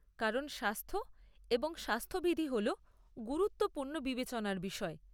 কারণ স্বাস্থ্য এবং স্বাস্থ্যবিধি হল গুরুত্বপূর্ণ বিবেচনার বিষয়।